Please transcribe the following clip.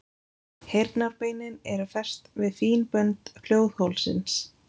Heyrnarbeinin eru fest við fín bönd hljóðholsins.